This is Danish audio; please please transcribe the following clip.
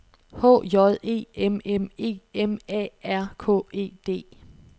H J E M M E M A R K E D